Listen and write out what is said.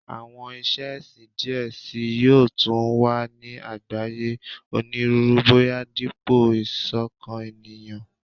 Awọn iṣe ẹsin diẹ sii yoo tun wa ni agbaye Oniruuru boya dipo isokan eniyan